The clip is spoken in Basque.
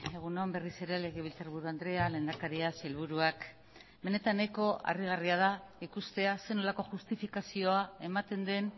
egun on berriz ere legebiltzarburu andrea lehendakaria sailburuak benetan nahiko harrigarria da ikustea zer nolako justifikazioa ematen den